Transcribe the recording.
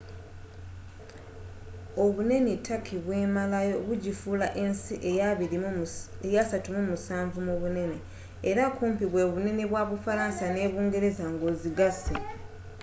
obunene turkey bwemalawo bugifuula ensi eya 37 mubunene era kumpi bwebunene bwa bufalansa ne bungereza nga ozigase